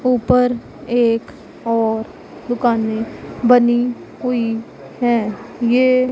ऊपर एक और दुकानें बनी हुई हैं ये--